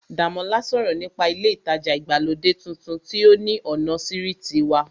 Dàmọ́lá sọ̀rọ̀ nípa ilé ìtajà ìgbàlódé tuntun tí ó ní ọ̀nà sírìtì wa